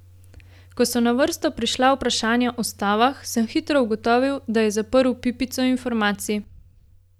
Ko so na vrsto prišla vprašanja o stavah, sem hitro ugotovil, da je zaprl pipico informacij.